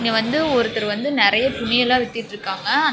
வந்து ஒருத்தர் வந்து நெறைய துணி எல்லா வித்துட்ருக்காங்க அந்த.